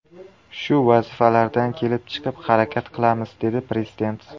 Shu vazifalardan kelib chiqib harakat qilamiz”, dedi prezident.